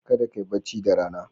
Kada kai bacci da Rana.